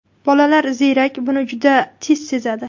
Bolalar ziyrak, buni juda tez sezadi.